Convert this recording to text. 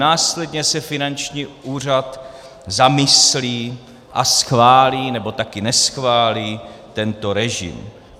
Následně se finanční úřad zamyslí a schválí, nebo také neschválí tento režim.